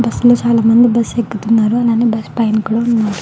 Bus లో చాల మంది బస్సు ఎక్కుతున్నారు అలానే బస్సు పైన కూడా వున్నారు.